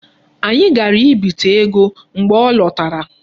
Anyị gara ibite ego mgbe ọ lọtara.